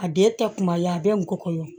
A den tɛ kuma ye a bɛ n go kɔnɔ